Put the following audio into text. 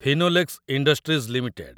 Finolex industries limited